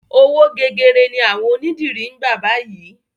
Owó gegere ni àwọn onídìrí ń gbà báyìí.